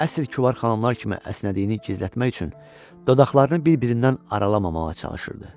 Əsl kübar xanımlar kimi əsnədiyini gizlətmək üçün dodaqlarını bir-birindən aralamağa çalışırdı.